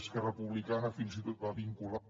esquerra republicana fins i tot va vincular